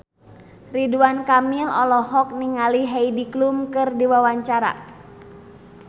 Ridwan Kamil olohok ningali Heidi Klum keur diwawancara